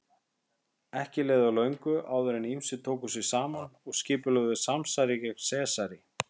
Ekki leið á löngu áður en ýmsir tóku sig saman og skipulögðu samsæri gegn Sesari.